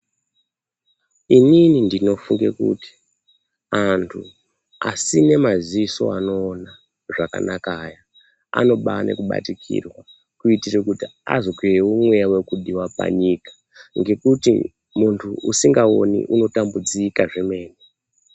Inini ndinofunge kuti anthu asina maziso anoona zvakanaka aya anobada kubatikirwa kuitira kuti azwewo mweya vekuva panyika ngekuti muntu asikaoni unombatambudzika zvemene.